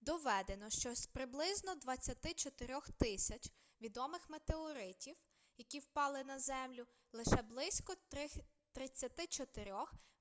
доведено що з приблизно 24000 відомих метеоритів які впали на землю лише близько 34